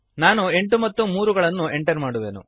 ನಾನು 8 ಮತ್ತು 3 ಗಳನ್ನು ಎಂಟರ್ ಮಾಡುವೆನು